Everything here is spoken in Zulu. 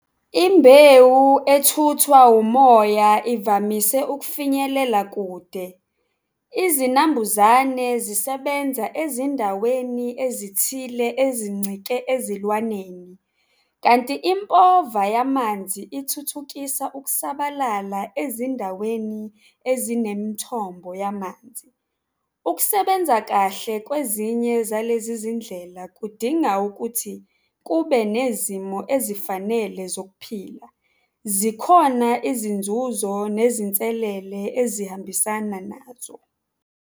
Imbewu ethuthwa umoya ivamise ukufinyelela kude. Izinambuzane zisebenza ezindaweni ezithile ezincike ezilwaneni kanti impova yamanzi ithuthukisa ukusabalala ezindaweni ezinemithombo yamanzi. Ukusebenza kahle kwezinye zalezi zindlela kudinga ukuthi kube nezimo ezifanele zokuphila. Zikhona izinzuzo nezinselele ezihambisana nazo.